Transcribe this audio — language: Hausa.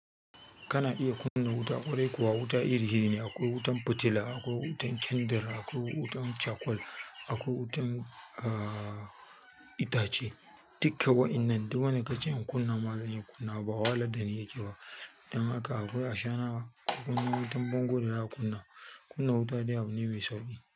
Kana iya kunna wuta, ƙwarai kuwa wuta iri-iri ne. Akwai wutan fitila, akwai wutan kyandar, akwai wutan cakwal, akwai wutan, ah, itace. Dukka waƴannan, duk wani kace in kunna ma zan kunna, bawala dani yake wa. Dan haka akwai ashana, kunna wutan bango da aka kunna. Kunna wuta dai abu ne mai sauƙi.